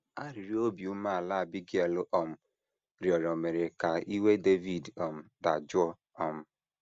Arịrịọ obi umeala Abigail um rịọrọ mere ka iwe Devid um dajụọ. um